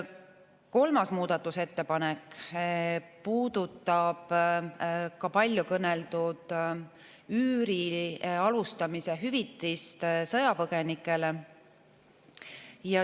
Kolmas muudatusettepanek puudutab paljukõneldud üüri alustamise hüvitist sõjapõgenikele.